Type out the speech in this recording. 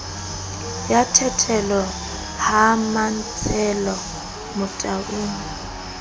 ya thitelo ha mantshele motaung